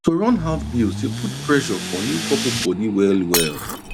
to run house bills dey put pressure for new couples bodi well well